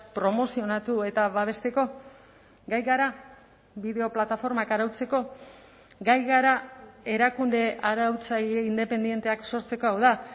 promozionatu eta babesteko gai gara bideo plataformak arautzeko gai gara erakunde arautzaile independenteak sortzeko hau da